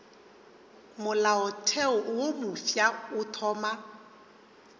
molaotheo wo mofsa o thoma